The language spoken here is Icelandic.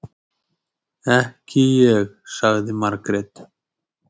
Ekki ég, sagði Margrét.